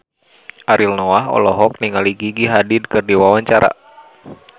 Ariel Noah olohok ningali Gigi Hadid keur diwawancara